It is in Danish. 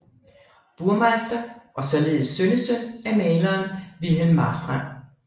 Burmeister og således sønnesøn af maleren Wilhelm Marstrand